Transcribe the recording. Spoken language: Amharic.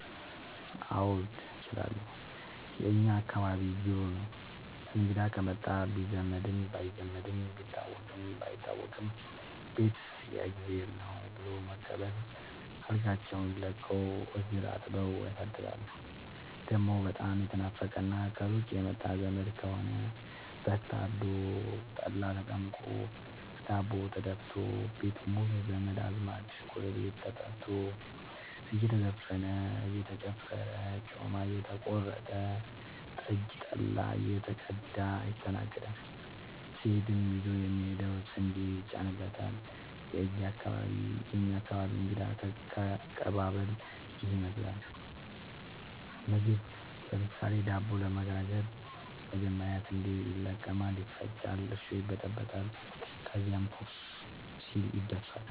አዎድ እችላለሁ የእኛ አካባቢ ጅሩ ነው። እንግዳ ከመጣ ቢዛመድም ባይዛመድም ቢታወቅም ባይታወቅም ቤት የእግዜር ነው። ብሎ በመቀበል አልጋቸውን ለቀው እግር አጥበው ያሳድራሉ። ደሞ በጣም የተናፈቀና ከሩቅ የመጣ ዘመድ ከሆነ በግ ታርዶ፤ ጠላ ተጠምቆ፤ ዳቦ ተደፋቶ፤ ቤት ሙሉ ዘመድ አዝማድ ጎረቤት ተጠርቶ እየተዘፈነ እየተጨፈረ ጮማ እየተቆረጠ ጠጅ ጠላ እየተቀዳ ይስተናገዳል። ሲሄድም ይዞ የሚሄደው ስንዴ ይጫንለታል። የእኛ አካባቢ እንግዳ ከቀባበል ይህን ይመስላል። ምግብ ለምሳሌ:- ዳቦ ለመጋገር መጀመሪያ ስንዴ ይለቀማል ይፈጫል እርሾ ይበጠበጣል ከዚያም ኩፍ ሲል ይደፋል።